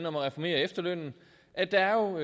om at reformere efterlønnen at der jo